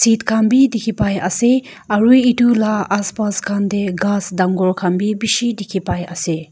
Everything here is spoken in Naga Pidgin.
khan bi dikhi pai ase aru etu la aspas khan te ghas dangor khan bi bishi dikhi pai ase.